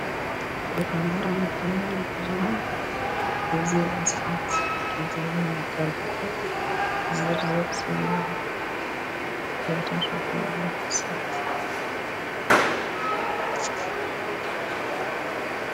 የአማራ መገናኛ ብዙሃን የዜና ሰአት የሚቀርብበት ዝርዝር ዜና እየቀረበ ያለበት ሰአት።